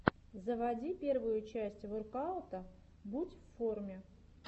заводи первую часть воркаута будь в форме